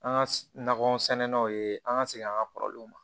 An ka nakɔ sɛnɛnanw ye an ka segin an ka kɔrɔlenw ma